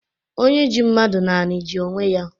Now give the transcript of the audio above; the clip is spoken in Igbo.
Onye ji mmadụ n’ani ji onwe ya